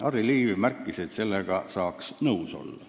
Harry Liiv märkis, et sellega saaks nõus olla.